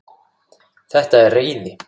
Þetta er reiði.